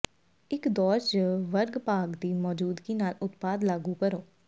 ਇੱਕ ਦੌਰ ਜ ਵਰਗ ਭਾਗ ਦੀ ਮੌਜੂਦਗੀ ਨਾਲ ਉਤਪਾਦ ਲਾਗੂ ਕਰੋ